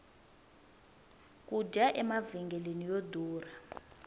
ku dya emavhengeleni yo durha